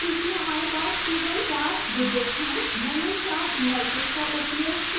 चूँकि हमारे पास केवल चार digits हैं मैंने चार indices का उपयोग किया है